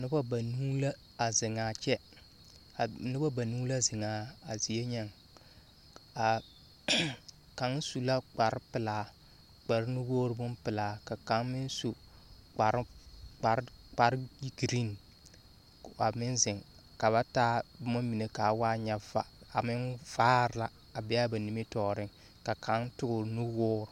Noba ba nuu la a zeŋaa kyɛ. A noba banuu la zeŋaa a zie nyɛŋ. A n n kaŋ su la kparpelaa, kparnuwoor bompelaa. Ka kaŋ meŋ su kpar kpar kpar geren a meŋ zeŋ ka ba taa boma mine kaa waa nyɛ va a meŋ vaar la a meŋ bea bɛ nimitɔɔreŋ, ka kaŋ toor nu woor.